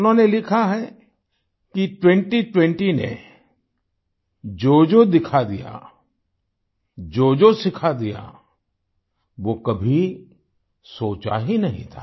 उन्होंने लिखा है कि 2020 ने जोजो दिखा दिया जोजो सिखा दिया वो कभी सोचा ही नहीं था